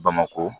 Bamakɔ